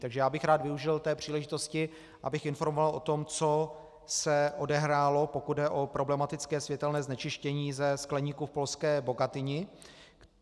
Takže já bych rád využil té příležitosti, abych informoval o tom, co se odehrálo, pokud jde o problematické světelné znečištění ze skleníků v polské Bogatynii.